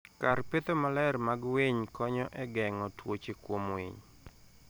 kar petho maler mag winy konyo e geng'o tuoche kuom winy.